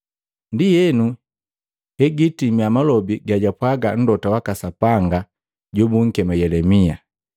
Ndienu, hegatimia malobi gajapwaga Mlota waka Sapanga jobunkema Yelemia,